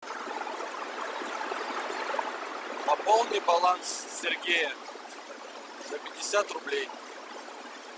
пополни баланс сергея за пятьдесят рублей